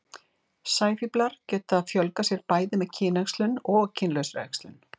sæfíflar geta fjölgað sér bæði með kynæxlun og kynlausri æxlun